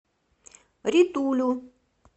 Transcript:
ритулю